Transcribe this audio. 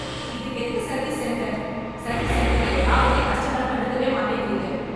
இதுக்கு எதுக்கு service centre ? Service சென்டர்ல யாருமே கஸ்டமர் கண்டுக்கவே மாட்ரீங்க.